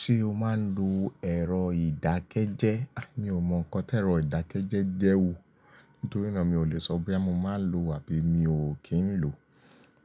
Ṣé o máa ń lo ẹ̀rọ ìdákẹ́jẹ́? Mi ò mọ nǹkan tí ẹ̀rọ ìdákẹ́jẹ́ jẹ́ wo. Nítorínà mi ò lè sọ boya mo máa lòò àbí mi ò kí ń lòò.